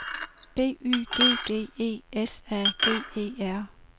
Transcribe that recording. B Y G G E S A G E R